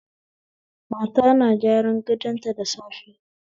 Mata na gyaran gatonta da safe